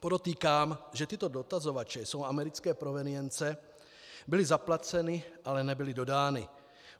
Podotýkám, že tyto dotazovače jsou americké provenience, byly zaplaceny, ale nebyly dodány.